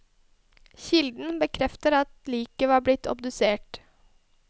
Kilden bekrefter at liket var blitt obdusert.